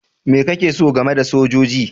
Me kake so game da sojoji?